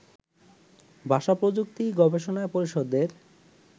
ভাষা-প্রযুক্তি গবেষণা পরিষদের